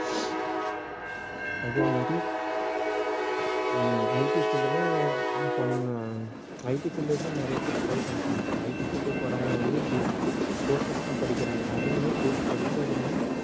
அதே மாதிரி um IT field ல IT field லதான் நிறைய பேர் try பண்றாங்க IT field க்கு போறவங்க வந்து d~ courses தான் படிக்கிறாங்க அதுவுமே course படிச்சாலுமே